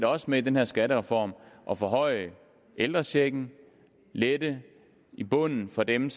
også med den her skattereform at forhøje ældrechecken lette i bunden for dem